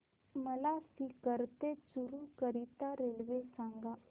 मला सीकर ते चुरु करीता रेल्वे सांगा